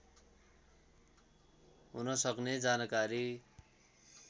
हुन सक्ने जानकारी